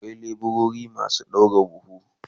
Akwai leburori masu daura bulo